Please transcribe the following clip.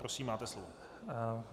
Prosím, máte slovo.